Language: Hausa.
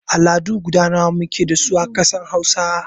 Al'adu guda nawa muke dasu a ƙasar Hausa?